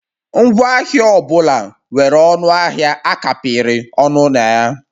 Ngwaahịa ọ bụla nwere ọnụ ahịa a kapịrị ọnụ na ya